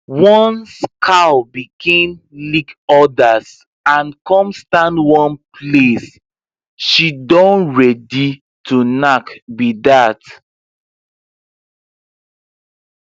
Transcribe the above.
once cow begin lick others and come stand one place she don ready to knack be that